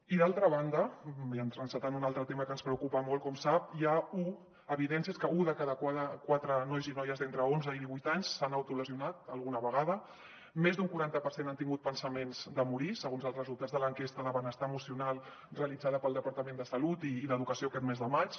i d’altra banda i encetant un altre tema que ens preocupa molt com sap hi ha evidències que un de cada quatre nois i noies d’entre onze i divuit anys s’han autolesionat alguna vegada més d’un quaranta per cent han tingut pensaments de morir segons els resultats de l’enquesta de benestar emocional realitzada pel departament de salut i d’educació aquest mes de maig